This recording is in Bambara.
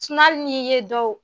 hali n'i ye dɔw